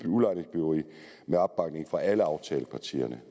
udlejningsbyggeri med opbakning fra alle aftalepartierne